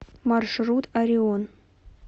маршрут орион